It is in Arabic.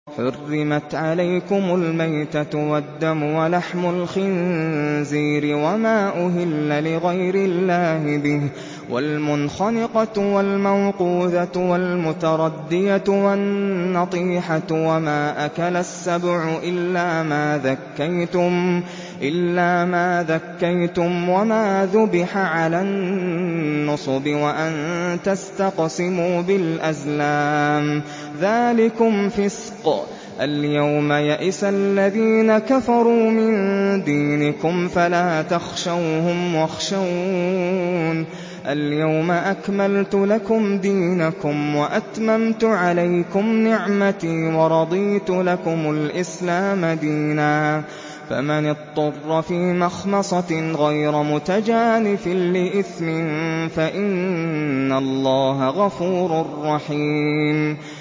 حُرِّمَتْ عَلَيْكُمُ الْمَيْتَةُ وَالدَّمُ وَلَحْمُ الْخِنزِيرِ وَمَا أُهِلَّ لِغَيْرِ اللَّهِ بِهِ وَالْمُنْخَنِقَةُ وَالْمَوْقُوذَةُ وَالْمُتَرَدِّيَةُ وَالنَّطِيحَةُ وَمَا أَكَلَ السَّبُعُ إِلَّا مَا ذَكَّيْتُمْ وَمَا ذُبِحَ عَلَى النُّصُبِ وَأَن تَسْتَقْسِمُوا بِالْأَزْلَامِ ۚ ذَٰلِكُمْ فِسْقٌ ۗ الْيَوْمَ يَئِسَ الَّذِينَ كَفَرُوا مِن دِينِكُمْ فَلَا تَخْشَوْهُمْ وَاخْشَوْنِ ۚ الْيَوْمَ أَكْمَلْتُ لَكُمْ دِينَكُمْ وَأَتْمَمْتُ عَلَيْكُمْ نِعْمَتِي وَرَضِيتُ لَكُمُ الْإِسْلَامَ دِينًا ۚ فَمَنِ اضْطُرَّ فِي مَخْمَصَةٍ غَيْرَ مُتَجَانِفٍ لِّإِثْمٍ ۙ فَإِنَّ اللَّهَ غَفُورٌ رَّحِيمٌ